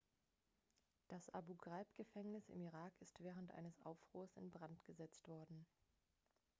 das abu-ghraib-gefängnis im irak ist während eines aufruhrs in brand gesetzt worden